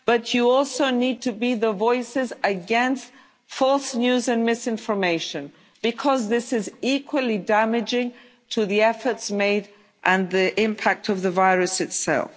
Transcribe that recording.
but you also need to be the voices against false news and misinformation, because this is equally damaging to the efforts made and the impact of the virus itself.